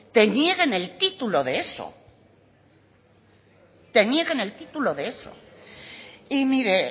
te nieguen el título de eso te nieguen el título de eso y mire